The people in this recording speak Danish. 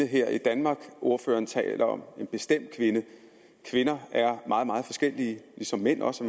her i danmark ordføreren taler om kvinder er meget meget forskellige ligesom mænd også